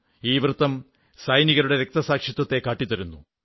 ഈ വൃത്തം സൈനികരുടെ രക്തസാക്ഷിത്വത്തെ കാട്ടിത്തരുന്നു